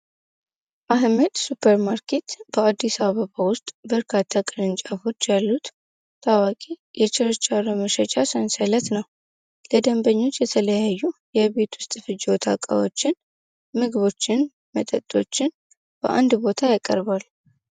አህሜድ ሱፐርማርኬት በአዲሳ አበባ ውስጥ በርካታ ቅርንጫፎች ያሉት ታዋቂ የችርቻ ረመሸቻ ሰንሰለት ነው ለደንበኞች የተለያዩ የቤት ውስጥ ፍጅወታቃዎችን ምግቦችን መጠጦችን በአንድ ቦታ ያቀርባል፡፡